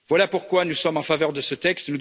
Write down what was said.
Voilà pourquoi nous sommes en faveur de ce texte.